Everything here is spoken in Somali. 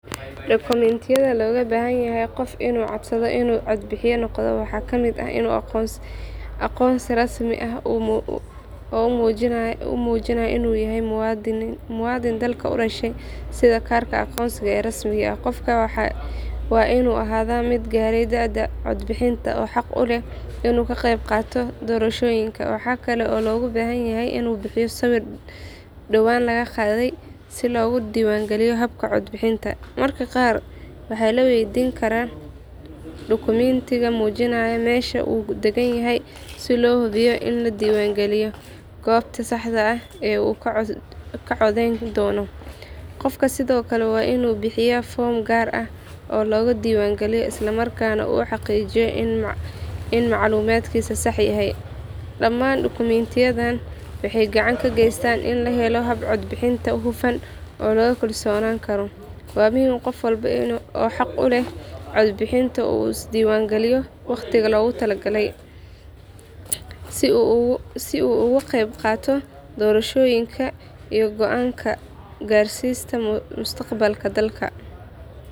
Dukumintiyadha logabahanyahay qof inu codsadho inu cod bixiya noqda waxa kamid ahh inu aqonsi rasmi ahh oo umujinayo muadin dalka udashay sidha karka aqonsiga ee rasmiga ah, qofka wainu ahadha mid garay daada cod bixinta oo haq uleh inuu kaqeyb qata doroshoyinka waxa kale oo logabahanyahay inuu bixiya sawir dawan lagaqadha si loga diwan giliyo habka cod bixinta, dadka qar waxa laweydin kara dukumentiga mujinayo mesha uu dagan yahy si lohubiyo in ladiwan galiyo gobta saxda ahh uu kacodheyn dono, qofka sidhokale wainu bixiya form gar ahh oo logadiwan giliyo islamarkana uhaqijiyo in maclumatkisa sax yahay, daman dukumentiyadhan waxey gacanta kageystan in lahelo hab cod bixinta hufan oo lagukalsonan karo, wa muhim qof walba oo xaq uleh cod bixinta uu isdiwan giliyo waqtiga loga tala galay, si uu ugaqeyb qato dorashoyinka iyo goanka garsista mustaqbalka dalka.